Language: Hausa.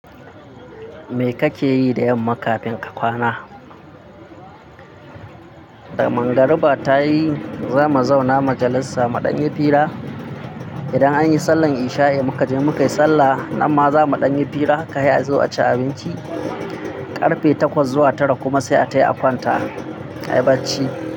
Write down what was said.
Me kake yi da yamma kafin ka kwana? Da mangariba ta yi, za mu zauna majalisa muɗanyi fira. Idan anyi sallar isha'i muka je mukai sallah, amma zamu ɗanyi fira, kayi a zo a ci abinci. Karfe takwas zuwa tara kuma sai a tafi a kwanta. Ayi bacci.